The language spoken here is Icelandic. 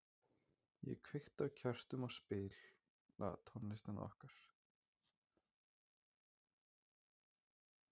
Ég kveiki á kertum og spila tónlistina okkar.